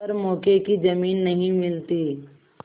पर मौके की जमीन नहीं मिलती